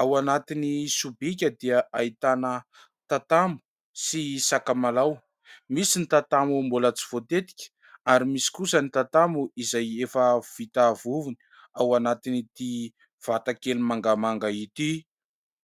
ao anatin'ny sobika dia ahitana tatamo sy sakamalaho ; misy ny tatamo mbola tsy voatetika ary misy kosa ny tatamo izay efa vita vovony ao anatin'ity vatakely mangamanga ity.